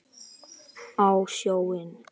Á sjóinn?